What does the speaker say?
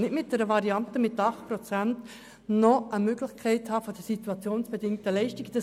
Mit einer Variante von 8 Prozent will ich nicht noch eine Möglichkeit bei den SIL haben.